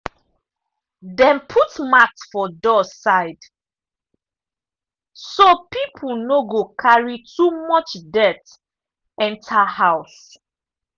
dem put mat for door side so people no go carry too much dirt enter house.